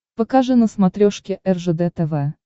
покажи на смотрешке ржд тв